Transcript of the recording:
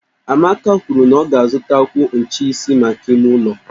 Amaka kwuru na ọ ga-azutakwu ncheisi maka ime ụlọ